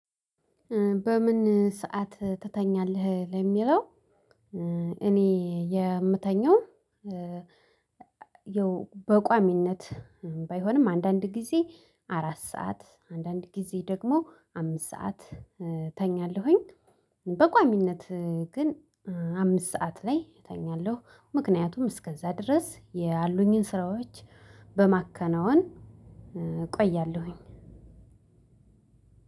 በምን ሰዓት ትተኛለህ ለሚለው እኔ የምተኛው ያው በቋሚነት ባይሆንም አንዳንድ ጊዜ አራት ሰዓት አንዳንድ ጊዜ ደግሞ አምስት ሰዓት ተኛለሁኝ፤ በቋሚነት ግን አምስት ሰዓት ላይ እተኛለሁ ምክንያቱም እስከዛ ድረስ ያሉኝን ስራዎች በማከናወን እቆያለሁኝ።